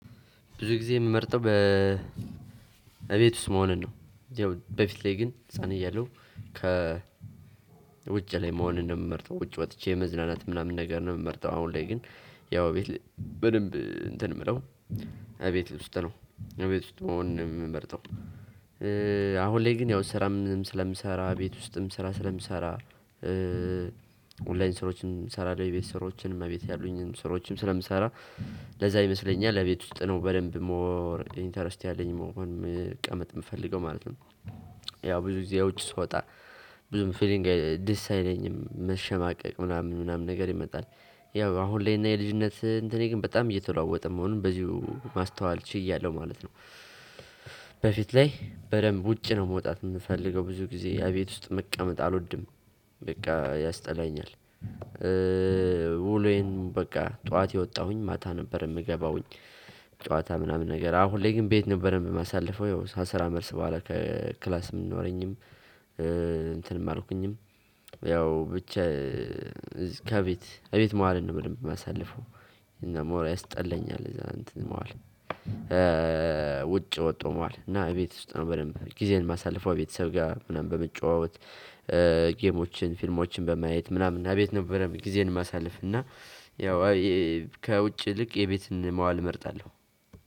ብዙ ጊዜ የምመርጠው በእቤት ውስጥ መሆንን ነው። ያው በፊት ላይ ግን ህፃን እያለሁ ከ ውጭ ላይ መሆን እምመርጠው ውጭ ወጥቼ መዝናናት ምናምን ነገር ነው የምመርጠው። አሁን ላይ ግን ያው ቤት በደንብ እንትን የምለው እቤት ውስጥ ነው እቤት ውስጥ መሆን ነው የምመርጠው። አሁን ላይ ግን ያው ስራ ምንም ስለምሰራ ቤት ውስጥም ስራ ስለምሰራ ኦንላይን ስራዎችን ሰራልሁ የቤት ስራዎችን እቤት ያሉኝን ስራዎችን ስለምሰራ። ለዛ ይመስለኛል እመቤት ውስጥ ነው በደንብ ሞር ኢንተረስት ያለኝ መሆን መቀመጥ የምፈልገው ማለት ነው። ያው ብዙ ጊዜው ውጭ ስወጣ ብዙም ፊሊንግ ደስ አይለኝም መሸማቀቅ ምናምን ምናምን ነገር ይመጣል። ያው አሁን ላይ እና የልጅነትህ እንትኔ ግን በጣም እየተለዋወጠ መሆኑን በዚሁ ማስተዋል ችያለሁ ማለት ነው። በፊት ላይ በደንብ ውጪ ነው መውጣት የምፈልገው ብዙ ጊዜ ያ ቤት ውስጥ መቀመጥ አልወድም። በቃ ያስጠላኛል። ውሎዬን በቃ ጠዋት የወጣሁኝ ማታ ነበር የምገባውኝ። ለዛ ይመስለኛል እመቤት ውስጥ ነው በደንብ ሞር ኢንተረስት ያለኝ መሆን መቀመጥ የምፈልገው ማለት ነው። ያው ብዙ ጊዜው ውጭ ስወጣ ብዙም ፊሊንግ ደስ አይለኝም መሸማቀቅ ምናምን ምናምን ነገር ይመጣል። ያው አሁን ላይ እና የልጅነትህ እንትኔ ግን በጣም እየተለዋወጠ መሆኑን በዚሁ ማስተዋል ችያለሁ ማለት ነው። በፊት ላይ በደንብ ውጪ ነው መውጣት የምፈልገው ብዙ ጊዜ ያ ቤት ውስጥ መቀመጥ አልወድም። ጌሞችን ፊልሞችን በማየት ምናምን እቤት ነበር ጊዜየን የማሳልፍ እና ያው ከውጭ ይልቅ እቤት መዋልን እመርጣለሁ።